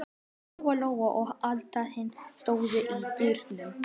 Lóa-Lóa og Abba hin stóðu í dyrunum.